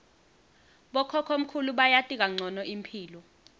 bokhokhomkhulu bayati kancono imphilo